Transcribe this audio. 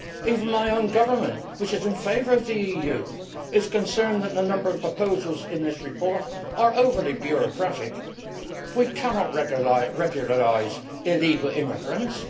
Even my own government, which is in favour of the EU, is concerned that the number of proposals in this report are overly bureaucratic. We cannot regularise illegal immigrants.